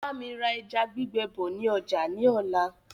Bámi ra ẹja gbígbẹ bọ̀ ni ọjà ni ọ̀la.